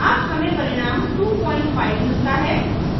अब हमें परिणाम 25 मिलता है